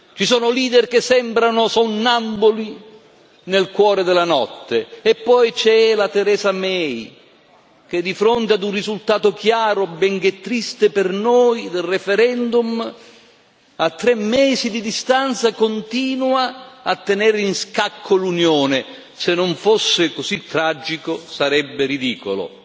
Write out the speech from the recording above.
Ci sono leader che sembrano sonnambuli nel cuore della notte, e poi c'è Theresa May, che di fronte ad un risultato chiaro, benché triste per noi, del referendum, a tre mesi di distanza continua a tenere in scacco l'Unione se non fosse così tragico, sarebbe ridicolo!